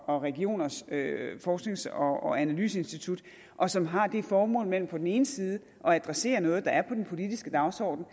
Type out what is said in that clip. og regioners forsknings og analyseinstitut og som har det formål mellem på den ene side at adressere noget der er på den politiske dagsorden og